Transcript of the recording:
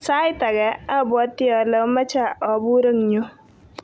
Sait age obwote ole omoche obur eng yu.